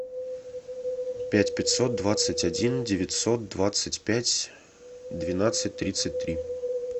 пять пятьсот двадцать один девятьсот двадцать пять двенадцать тридцать три